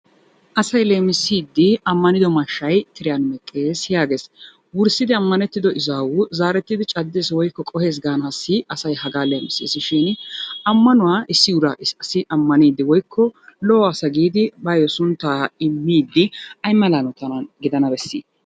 Asay leemisiiddi ammanndo mashshay tiriyan meqqes, yaages. Wurssidi ammannettido ezaawu zaarettidi caddes woykko qohes gaanaassi asay hagaa leemiseesi shiini ammanuwa issi asi ammaniiddi woykko lo'o asa giidi bayo sunttaa immiiddi ayimala hanotan gidana besii?